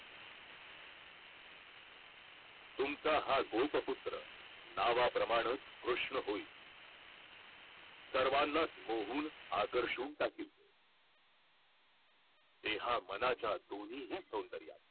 तुमचा हा गोप पुत्रा नावाप्रमाणच कृष्ण होईल सर्वांनाच मोहून आकर्षून टाकील देहा मनाच्या दोन्ही सौदर्यान